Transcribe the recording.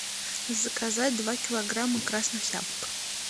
заказать два килограмма красных яблок